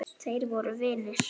Þeir voru vinir.